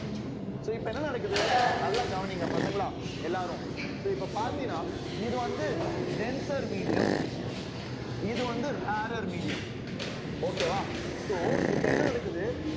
so இப்ப என்ன நடக்குது நல்லா கவனிங்க பசங்களா எல்லாரும் so இப்ப பாத்தீங்கன்னா இது வந்து denser medium இது வந்து rarer medium okay வா so இப்ப என்ன நடக்குது